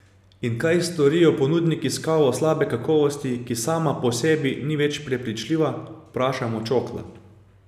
In kaj storijo ponudniki s kavo slabe kakovosti, ki sama po sebi ni več prepričljiva, vprašamo Čokla.